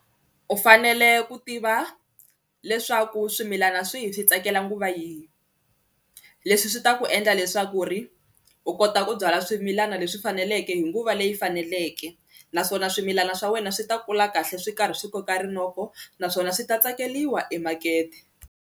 U fanele ku tiva leswaku swimilana swihi swi tsakela nguva yini leswi swi ta ku endla leswaku ri u kota ku byala swimilana leswi faneleke hi nguva leyi faneleke naswona swimilana swa wena swi ta kula kahle swi karhi swi koka rinoko naswona swi ta tsakeliwa emakete.